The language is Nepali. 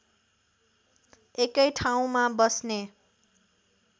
एकै ठाउँमा बस्ने